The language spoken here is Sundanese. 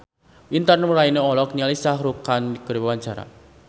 Intan Nuraini olohok ningali Shah Rukh Khan keur diwawancara